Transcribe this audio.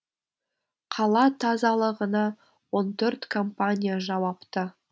қала тазалығына он төрт компания жауапты